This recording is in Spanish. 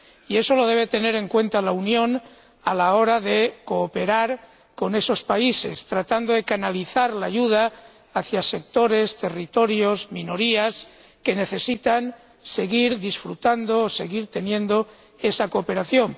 Y eso lo debe tener en cuenta la Unión a la hora de cooperar con esos países, tratando de canalizar la ayuda hacia sectores, territorios y minorías que necesitan seguir disfrutando o seguir disponiendo de esa cooperación.